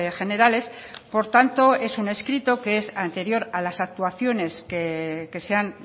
generales por tanto es un escrito que es anterior a las actuaciones que se han